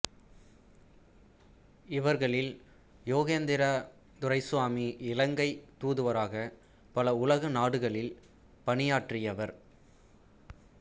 இவர்களில் யோகேந்திரா துரைசுவாமி இலங்கைத் தூதுவராகப் பல உலக நாடுகளில் பணியாற்றியவர்